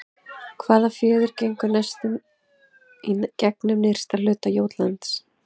Hvaða fjörður gengur næstum í gegnum nyrsta hluta Jótlands?